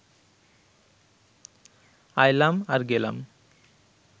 আইলাম আর গেলাম